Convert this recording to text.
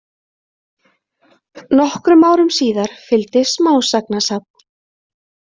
Nokkrum árum síðar fylgdi smásagnasafn.